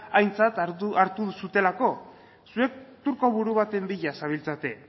aintzat hartu duzuelako zuek turko buru baten bila zabiltzate